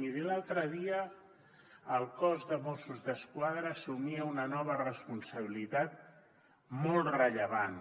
miri l’altre dia el cos de mossos d’esquadra assumia una nova responsabilitat molt rellevant